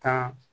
Tan